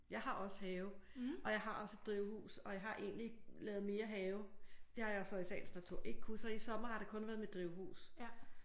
Jeg har også have og jeg har også et drivhus og jeg har egentlig lavet mere have det har jeg så i sagens natur ikke kunne så i sommers har det kun været mit drivhus